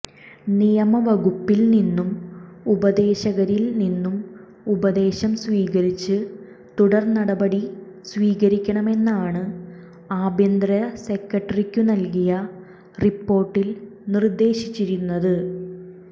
നിയമ വകുപ്പിൽ നിന്നും ഉപദേശകരിൽ നിന്നും ഉപദേശം സ്വീകരിച്ച് തുടർ നടപടി സ്വീകരിക്കണമെന്നാണ് ആഭ്യന്തര സെക്രട്ടറിക്കു നൽകിയ റിപ്പോർട്ടിൽ നിർദേശിച്ചിരുന്നത്